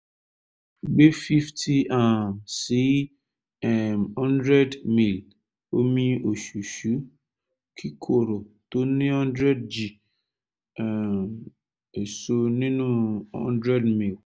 gbé fifty um sí um one hundred ml omi òṣùṣú kíkorò tó ní one hundred g um èso nínú one hundred ml